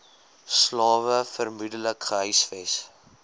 slawe vermoedelik gehuisves